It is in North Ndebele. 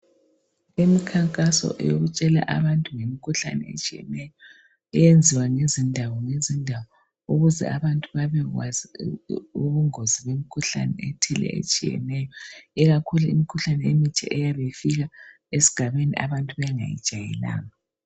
Imikhankaso eyokutshela abantu ngemkhuhlane etshiyeneyo eyenziwa ngezindawo ngezindawo, ukuze abantu babekwazi ubungozi bemkhuhlane ethile etshiyeneyo. Ikakhulu imikhuhlane emitsha eyabe ifika esigabeni abantu bengayijayelanga.